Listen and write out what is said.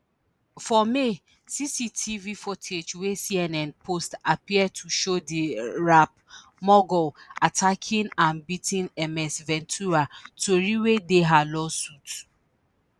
for may cctv footage wey cnn post appear to show di rap mogul attacking and beating ms ventura tori wey dey her civil suit